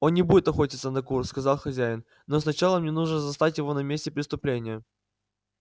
он не будет охотиться на кур сказал хозяин но сначала мне нужно застать его на месте преступления